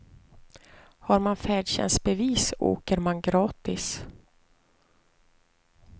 Har man färdtjänstbevis åker man gratis.